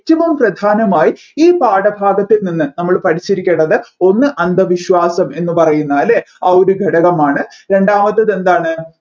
minimum പ്രധാനമായും ഈ പാഠഭാഗത്ത് നിന്ന് നമ്മൾ പഠിച്ചിരിക്കേണ്ടത് ഒന്ന് അന്ധവിശ്വാസം എന്ന് പറയുന്ന അല്ലെ ആ ഒരുഘടകമാണ് രണ്ടാമത്തത് എന്താണ്